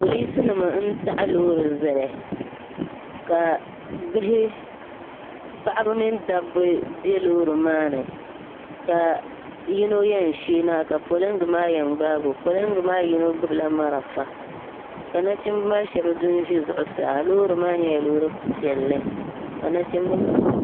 Polinsinima n-taɣi loori zali ka bihi paɣiba mini dabba be loori maa ni ka yino yɛn sheei na ka poliŋgi maa yɛn gbaagi o poliŋgi maa yino gbubila marafa ka nachimba maa shɛba du n-ʒi zuɣusaa loori maa nyɛla loori piɛlli ka nachimba maa.